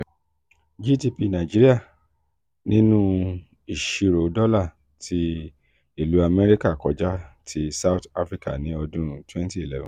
gdp nigeria nínú isiro dọ́llar ti ilu america kọjá ti south africa ní ọdún twenty eleven